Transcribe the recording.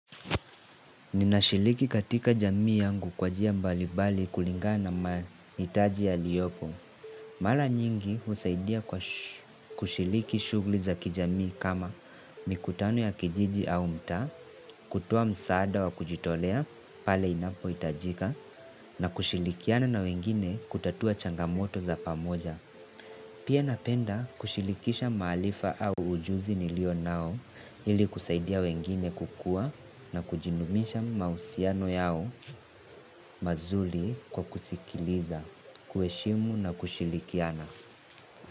Ninashiriki katika jamii yangu kwa njia mbali mbali kulingana mahitaji yaliyopo. Mara nyingi husaidia kwa kushiriki shughli za kijamii kama mikutano ya kijiji au mtaa, kutoa msaada wa kujitolea pale inapo hitajika, na kushirikiana na wengine kutatua changamoto za pamoja. Pia napenda kushirikisha maarifa au ujuzi nilio nao ili kusaidia wengine kukuwa na kujinumisha mahusiano yao mazuri kwa kusikiliza, kuheshimu na kushirikiana.